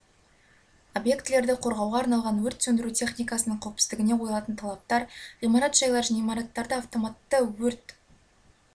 объектілерді қорғауға арналған өрт сөндіру техникасының қауіпсіздігіне қойылатын талаптар ғимарат жайлар және имараттарды автоматты өрт